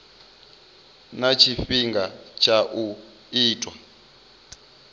na tshifhinga tsha u itwa